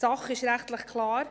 Rechtlich ist es klar: